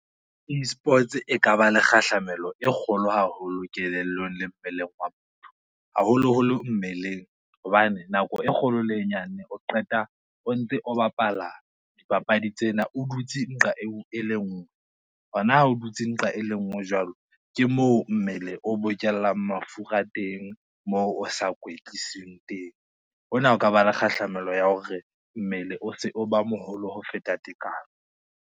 eSports e ka ba le kgahlamelo e kgolo haholo kelellong le mmeleng wa motho. Haholoholo mmeleng, hobane nako e kgolo le e nyane o qeta o ntse o bapala dipapadi tsena o dutse nqa eo e le ngwe, hona o dutse nqa e le ngwe jwalo ke moo mmele o bokellang mafura teng moo o sa kwetlising teng, hona ho ka ba le kgahlamelo ya hore mmele o se o ba moholo ho feta tekano.